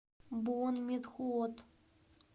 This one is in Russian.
буонметхуот